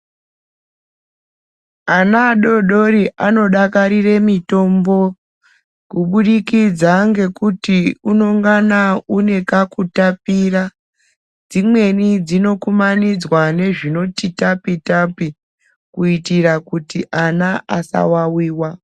Ana adodori anodakarire mitombo, kubudikidza ngekuti unongana unekakutapira. Dzimweni dzinokumanidzwa nezvinoti tapi tapi, kuyitira kuti ana asawawiwa.